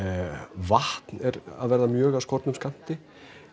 vatn er að verða mjög af skornum skammti